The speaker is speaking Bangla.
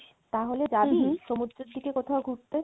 তাহলে জাবি সমুদ্রের কোথাও ঘুরতে?